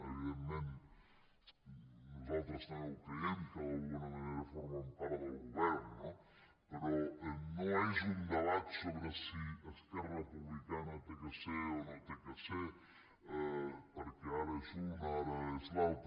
evidentment nosaltres també ho creiem que d’alguna manera formen part del govern no però no és un debat sobre si esquerra republicana ha de ser o no ha de ser perquè ara és un ara és l’altre